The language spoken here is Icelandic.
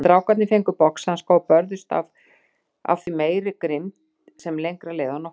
Strákarnir fengu boxhanska og börðust af því meiri grimmd sem lengra leið á nóttina.